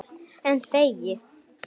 En þegi.